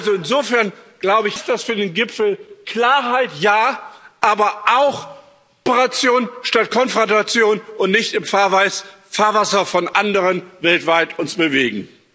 Also insofern heißt das für den Gipfel Klarheit, ja, aber auch Kooperation statt Konfrontation und nicht im Fahrwasser von anderen weltweit uns bewegen.